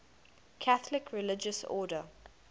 catholic religious order